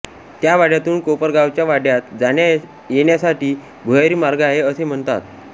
त्या वाड्यातून कोपरगावच्या वाड्यात जाण्यायेण्यासाठी भुयारी मार्ग आहे असे म्हणतात